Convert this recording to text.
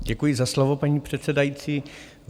Děkuji za slovo, paní předsedající.